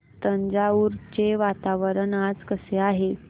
तंजावुर चे वातावरण आज कसे आहे